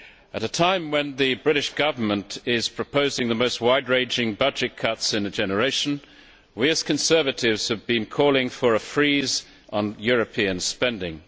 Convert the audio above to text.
At a time when the British Government is proposing the most wide ranging budget cuts in a generation we, as Conservatives, have been calling for a freeze on European spending.